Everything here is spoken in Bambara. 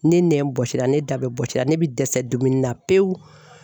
Ne nɛn bɔsira ne da bɛɛ bɔsira, ne bi dɛsɛ dumuni na pewu